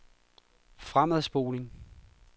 fremadspoling